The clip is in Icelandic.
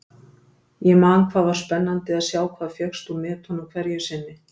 Ég man hvað var spennandi að sjá hvað fékkst úr netunum hverju sinni.